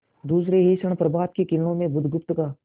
दूसरे ही क्षण प्रभात की किरणों में बुधगुप्त का